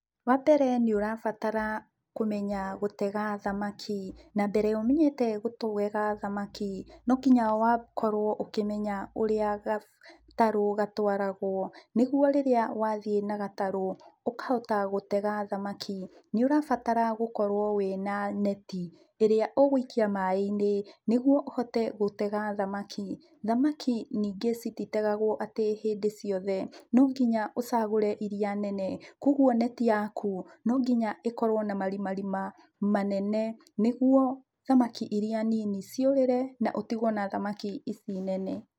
Wa mbere nĩũrabatara kũmenya gũtega thamaki. Na mbere ya ũmenyete gũtega thamaki, no nginya ũkorwo ũkĩmenye ũrĩa gatarũ gatwaragwo, nĩguo rĩrĩa wathiĩ na gatarũ, ũkahota gũtega thamaki. Nĩũrabatara gũkorwo wĩ na neti, ĩrĩa ũgũikia maaĩ-inĩ, nĩguo ũhote gũtega thamaki. Thamaki ningĩ cititegagwo atĩ hĩndĩ ciothe, no nginya ũcagũre iria nene, koguo neti yaku, no nginya ĩkorwo na marima rima manene, nĩguo thamaki iria nini ciũrĩre, na ũtigwo na thamaki ici nene.